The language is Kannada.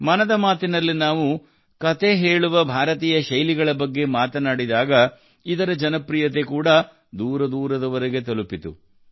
ಮನದ ಮಾತಿನಲ್ಲಿ ನಾವು ಕತೆ ಹೇಳುವ ಭಾರತೀಯ ಶೈಲಿಗಳ ಬಗ್ಗೆ ಮಾತನಾಡಿದಾಗ ಇದರ ಜನಪ್ರಿಯತೆ ಕೂಡಾ ದೂರದೂರವರೆಗೂ ತಲುಪಿತು